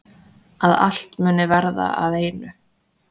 Að allt muni verða að einu.